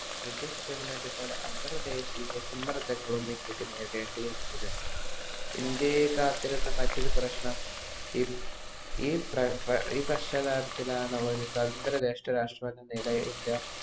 British government പല അന്തർദേശിയ സമ്മർദങ്ങളും ഇന്ത്യക്കു നേരിടേണ്ടരുന്നു ഇന്ത്യയെ കാത്തിരുന്ന മറ്റൊരു പ്രശനം ഈ പശ്ചാത്താപത്തിലാണ് അവർ സ്വന്തന്ത്ര രാഷ്ട്ര നേടിയ ഇന്ത്യ